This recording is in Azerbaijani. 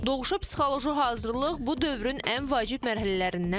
Doğuşa psixoloji hazırlıq bu dövrün ən vacib mərhələrindən biridir.